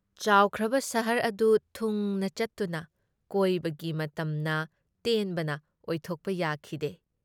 ꯆꯥꯎꯈ꯭ꯔꯕ ꯁꯍꯔ ꯑꯗꯨ ꯊꯨꯡꯅ ꯆꯠꯇꯨꯅ ꯀꯣꯏꯕꯒꯤ ꯃꯇꯝꯅ ꯇꯦꯟꯕꯅ ꯑꯣꯏꯊꯣꯛꯄ ꯌꯥꯈꯤꯗꯦ ꯫